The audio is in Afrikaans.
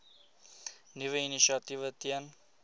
nuwe initiatiewe ten